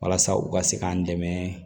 Walasa u ka se k'an dɛmɛ